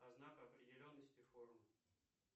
знак определенности форум